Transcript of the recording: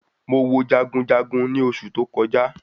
Mo wo jagunjagun ni oṣù tó kọjá